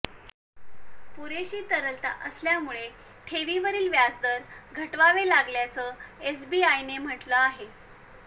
पुरेशी तरलता असल्यामुळे ठेवींवरील व्याजदर घटवावे लागल्याचं एसबीआयने म्हटलं आहे